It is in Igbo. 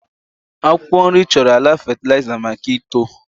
akwụkwọ nri chọrọ ala fatịlaịza maka uto